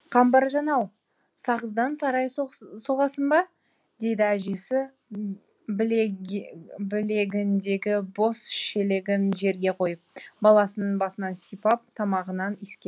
қамбаржан ау сағыздан сарай соғасың ба дейді әжесі білегіндегі бос шелегін жерге қойып баланың басынан сипап тамағынан иіскеп